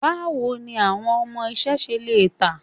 Báwo ni àwọn ọmọ iṣẹ́ ṣe lọ tán?